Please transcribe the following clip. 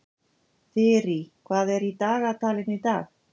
Þyrí, hvað er í dagatalinu í dag?